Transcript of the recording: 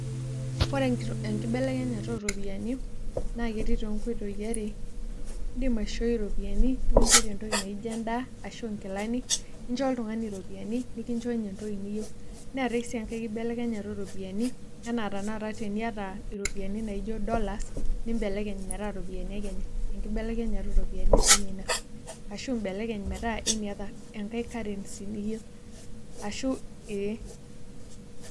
Ore enkibelekenyata ooropiyiani naa ketii toonkoitoi are iindim aishooi iropiyiani nikinchore entoki naa ijo endaa ashu nkilani incho oltung'ani iropiyiani ninkincho ninye entoki niyieu neetai sii enkai kibelekenyata ooropiyiani ena tanakata teniata iropiyiani naa ijo dollars nimbelekenye metaa iropiyaini e Kenya enkibelekenyata ooropiyiani siinye ina ashu imbelekeny metaa any other enkai currency niyieu ashu ee.